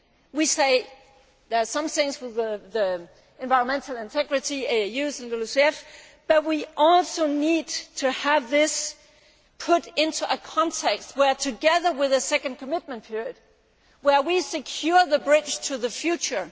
We say there are some things with the environmental integrity, AAUs and LULUCF, but we also need to have this put into a context where, together with a second commitment period, we secure the bridge to the future